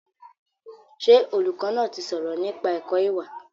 Ṣé olùkọ́ náà ti sọ̀rọ̀ nípa ẹ̀kọ́ ìwà?